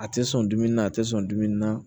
A tɛ sɔn dumuni na a tɛ sɔn dumuni na